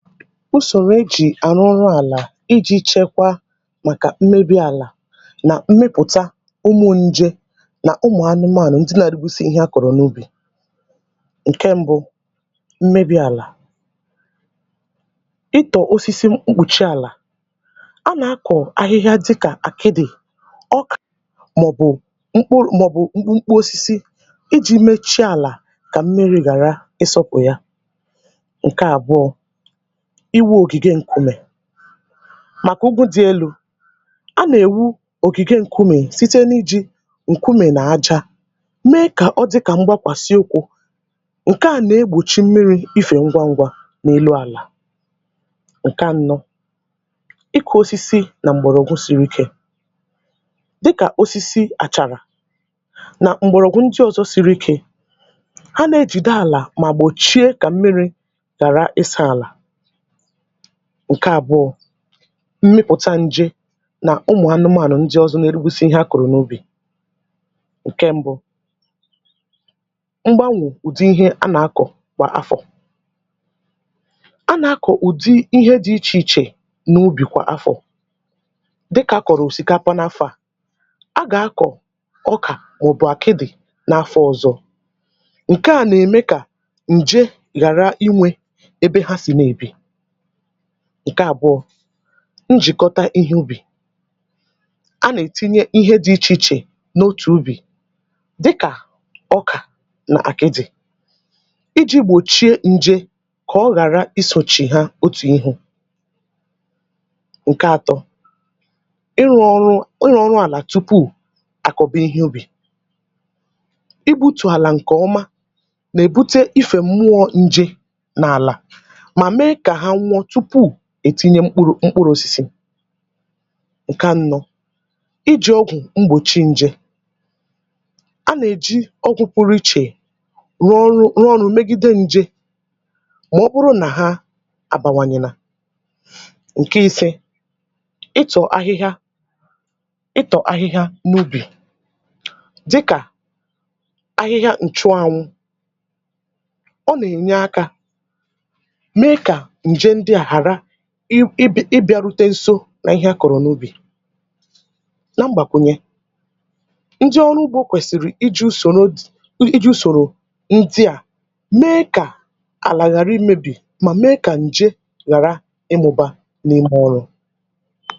Ùsòrò ejì àrụrụ àlà iji̇ chekwaa màkà mmebi̇ àlà nà mmepụ̀ta ụmụ̀ njė nà ụmụ̀ anụmaànụ̀ ndị nȧ-ȧdị̇ gbusi ihe a kọ̀rọ̀ n’ubì. Ǹke mbụ mmebi̇ àlà, ịtọ̀ osisi mkpùchì àlà a nà-akọ̀ ahịhịa dịkà àkịdị̀, ọka màọ̀bụ̀ mkpụrụ màọ̀bụ̀ mkpụ osisi ijì mechie àlà kà mmiri̇ ghàra ịsọ̇pụ̀ ya, ǹke àbụọ iwu̇ ògìgè nkụmè màkà ugwu dị̇ elu, a nà-èwu ògìgè nkụmè site n’iji̇ nkụmè nà aja mee kà ọ dịkà mgbàkwàsi ukwu ǹkè a nà-egbòchi mmiri̇ ifè ngwa ngwa n’elu àlà, ǹkè aṅo ịkụ̇ osisi nà m̀gbọ̀rọ̀ ọgwụ siri ikė dịkà osisi àchàrà nà m̀gbọ̀rọ̀gwụ ndị ọzọ siri ike ha nà-ejìde àlà mà gbòchie kà mmiri̇ ghàra ịsȧ àlà. Ǹke àbụọ̇ mmịpụ̀ta nje nà ụmụ̀ anụmànụ n dị̇ ọzọ n’eru busi ihe ha kụ̀rụ̀ n’ubì, ǹke mbụ mgbanwụ̀ ùdị ihe a nà-akọ̀ kwà afọ̀, a nà-akọ̀ ùdị ihe dị̇ ichè ichè n’ubì kwà afọ̀ dịkà a kọ̀rọ̀ òsìkapa n’afọ̇ à, a gà-akọ̀ ọkà maòbù àkịdị̀ n’afọ̇ ọ̀zọ ǹke à nà-ème kà ǹje ghàra inwė ebe ha sì n’èbì, ǹke àbụọ̇ njìkọta ihe ubì, a nà-ètinye ihe dị̇ ichè ichè n’otù ubì dịkà ọkà nà àkịdị̀ iji̇ gbòchie nje kà ọ ghàra isòchì ha otù ihu, ǹke ȧtọ̇ ịrụ̇ ọrụ ịrụ ọrụ àlà tupu àkọba ihe ubì, ịgbu̇tụ̀ àlà ǹkèọma nà-èbute ifè mụọ nje n’àlà ma mme ka ha nwụọ tupu ètinye mkpụrụ̇ mkpụrụ̇ osisi, ǹke anọ iji̇ ọgwụ̀ mgbòchi nje, a nà-èji ọgwụ̇ pụrụ ichè rụọ ọrụ rụọ ọrụ̇ megi̇de nje mà ọ bụrụ nà ha àbàwànyènà, ǹke isė ị tọ̀ ahịhịa ị tọ̀ ahịhịa n’ubì dịkà ahịhịa ǹchụànwụ ọ nà-ènye akȧ mme ka nje ndị a ghara ịbị̇ arute nsȯ nà ihe a kọ̀rọ̀ n’ubì. Ǹa mgbàkwùnyè, ndị ọrụ ugbȯ kwèsìrì iji̇ soro iji̇ usoro ndị à mee kà àlà ghàrị imėbì mà mee kà ǹje gàra ịmụ̇bȧ n’ime ọrụ̇.